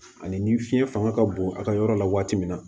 Ani ni fiɲɛ fanga ka bon a ka yɔrɔ la waati min na